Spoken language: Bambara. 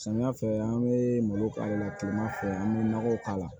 Samiya fɛ an be malo k'a la kilema fɛ an be nɔgɔ k'a la